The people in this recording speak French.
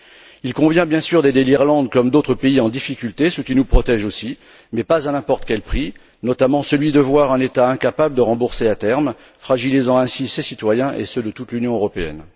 Il convient, bien sûr, d'aider l'Irlande comme d'autres pays en difficulté, ce qui nous protège aussi, mais pas à n'importe quel prix, notamment celui de voir un État incapable de rembourser à terme, fragilisant ainsi ses citoyens et ceux de toute l'Union européenne.